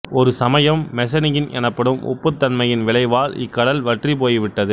ஒரு சமயம் மெசனியன் எனப்படும் உப்புத்தன்மையின் விளைவால் இக்கடல் வற்றிப்போய்விட்டது